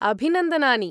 अभिनन्दनानि।